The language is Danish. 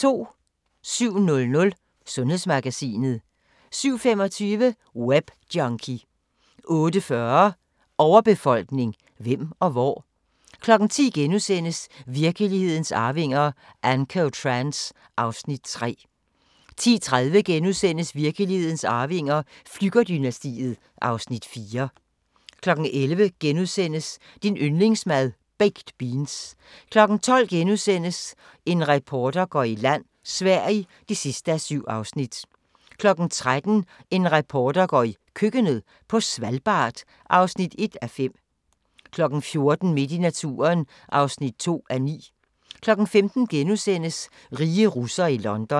07:00: Sundhedsmagasinet 07:25: Webjunkie 08:40: Overbefolkning – hvem og hvor? 10:00: Virkelighedens arvinger: Ancotrans (Afs. 3)* 10:30: Virkelighedens arvinger: Flügger-dynastiet (Afs. 4)* 11:00: Din yndlingsmad: Baked beans * 12:00: En reporter går i land: Sverige (7:7)* 13:00: En reporter går i køkkenet – på Svalbard (1:5) 14:00: Midt i naturen (2:9) 15:00: Rige russere i London *